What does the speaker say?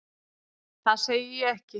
Það segi ég ekki.